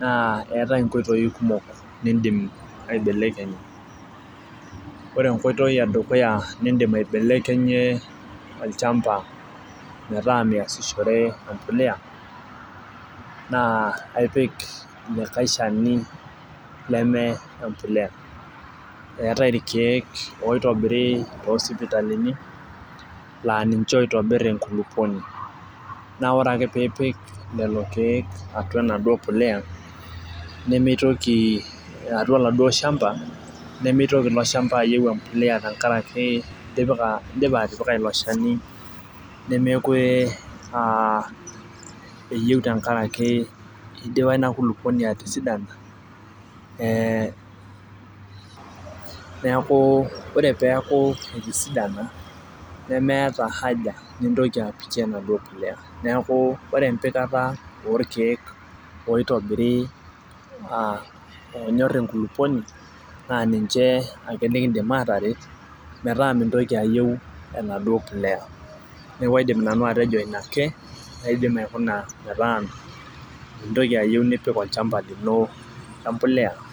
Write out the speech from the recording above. naa eetae inkoitoi kumok nidim aibelekenyie. ore enkoitoi edukuya nidim aibelekenyie olchampa metaa measishore, empuliya naa aipik like Shani leme, empuliya. eetae irkeek oitobiri, toosipitalini laa ninche oitobir enkulupuoni. naa ore ake pee ipik lelo keeku atua enaduoo puliya nemeitoki aata oladuoo shampa. nemeitoki, ilo shampa aitobiraki amu itipika ilo shani. nemeekure aa eyieu tenkaraki, idipa Ina kulupuoni atisidana ee, neeku ore peeku etisdana, nemeeta haja mintoki apikie enaduoo puliya. neeku ore empikata orkeek oitobiri aa oonyor enkulupuoni naa ninche ake nikidim aataret. metaa mintoki ayieu enaduoo puliya. neeku kaidim nanu atejo Ina ake metaa mintoki ayieu nipik olchampa lino empuliya.